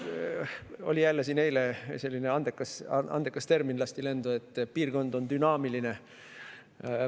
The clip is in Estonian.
Jälle, siin eile lasti lendu selline andekas termin, et piirkond on dünaamiline.